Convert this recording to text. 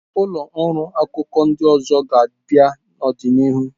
Ụlọ ọrụ akụkọ ndị ọzọ ga-abịa n'ọdịnihu.